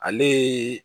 Ale ye